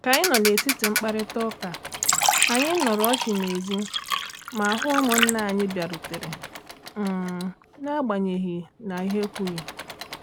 Ka anyị nọ n’etiti mkparịta ụka, anyị nụrụ ọchị n’èzí ma hụ ụmụnna anyị bịarutere um n’agbanyeghị na ha ekwughị.